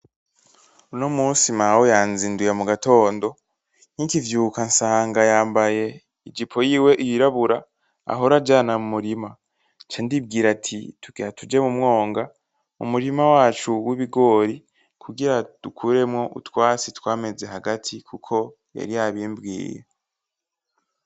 Uno munsi mawe yanzinduye mugatondo. Nkikivyuka nsanga yambaye ijipo yiwe yirabura ahora ajana mumurima. Ncandibwira ati tugira tuje mumwonga. Umurima wacu wibigori kugira dukuremwo utwatsi twameze hagati kuko yari yabimbwiye.